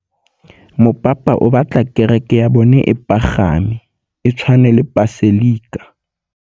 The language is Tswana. Mopapa o batla kereke ya bone e pagame, e tshwane le paselika.